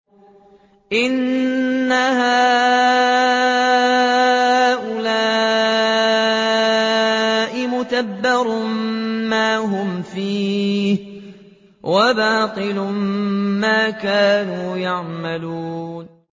إِنَّ هَٰؤُلَاءِ مُتَبَّرٌ مَّا هُمْ فِيهِ وَبَاطِلٌ مَّا كَانُوا يَعْمَلُونَ